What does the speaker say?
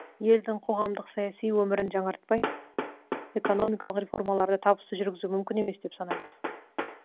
елдің қоғамдық саяси өмірін жаңартпай экономикалық реформаларды табысты жүргізу мүмкін емес деп санаймыз